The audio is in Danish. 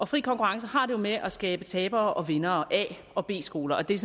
fri konkurrence har det jo med at skabe tabere og vindere a og b skoler og det er